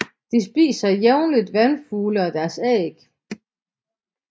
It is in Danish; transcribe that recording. De spiser jævnligt vandfugle og deres æg